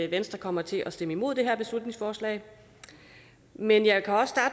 venstre kommer til at stemme imod det her beslutningsforslag men jeg